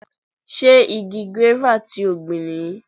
Ṣé igi gúéfà ti o gbìn nìyí?